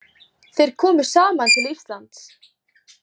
Þeir komu saman til Íslands.